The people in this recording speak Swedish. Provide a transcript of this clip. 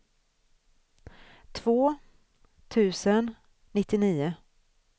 två tusen nittionio